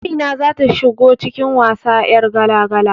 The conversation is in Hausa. Amina zata shigo cikin wasa 'yar gala-gala